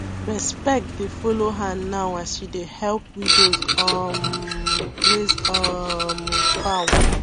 respect dey follow her now as she dey help widows um raise um fowl